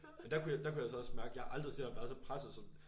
Der kunne jeg der kunne jeg så også mærke jeg havde aldrig set ham være så presset som